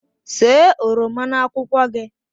See oroma na akwụkwọ gị